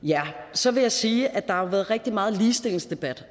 så vil jeg sige at der har været rigtig meget ligestillingsdebat